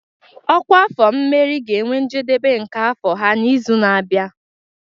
Ọkwa afọ mmeri ga-enwe njedebe nke afọ ha n'izu na-abịa.